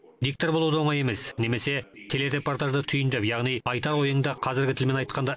диктор болу да оңай емес немесе телерепотажды түйіндеп яғни айтар ойыңды қазіргі тілмен айтқанда